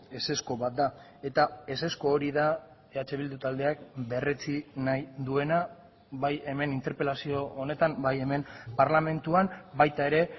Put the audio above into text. ezezko bat da eta ezezko hori da eh bildu taldeak berretsi nahi duena bai hemen interpelazio honetan bai hemen parlamentuan baita ere